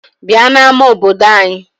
Bịa n'ama obodo anyị!